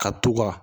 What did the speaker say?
Ka t'u ka